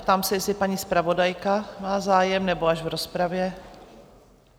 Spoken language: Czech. Ptám se, jestli paní zpravodajka má zájem, nebo až v rozpravě?